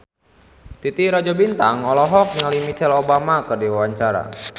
Titi Rajo Bintang olohok ningali Michelle Obama keur diwawancara